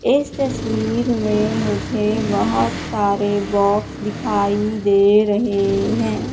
इस तस्वीर में मुझे बहोत सारे बॉक्स दिखाई दे रहे है।